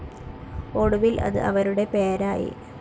ഒടുവിൽ അത് അവരുടെ പേരായി.